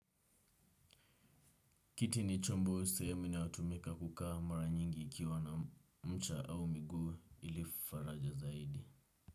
Kiti ni chombo sehemu inayotumika kukaa mara nyingi ikiwa na mcha au miguu ili faraja zaidi.